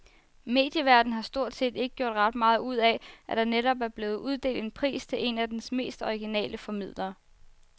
Medieverdenen har stort set ikke gjort ret meget ud af, at der netop er blevet uddelt en pris til en af dens mest originale formidlere.